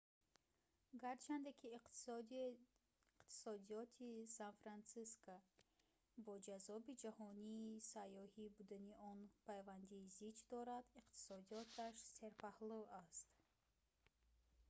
гарчанде ки иқтисодиёти сан-франсиско бо ҷаззоби ҷаҳонии сайёҳӣ будани он пайванди зич дорад иктисодиёташ серпаҳлӯ аст